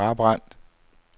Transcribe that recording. Brabrand